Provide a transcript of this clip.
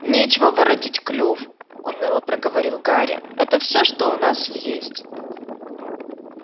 нечего воротить клюв уныло проговорил гарри это всё что у нас есть